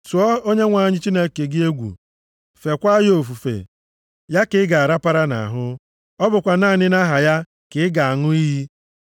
Tụọ Onyenwe anyị Chineke gị egwu, feekwa ya ofufe. Ya ka ị ga-arapara nʼahụ, + 10:20 Ya ka ị ga-ejidesi aka ike ọ bụkwa naanị nʼaha ya ka ị ga-aṅụ iyi.